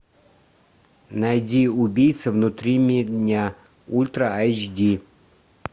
найди убийца внутри меня ультра айч ди